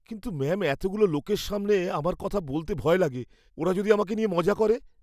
কিন্তু ম্যাম এতগুলো লোকের সামনে আমার কথা বলতে ভয় লাগে। ওরা যদি আমাকে নিয়ে মজা করে।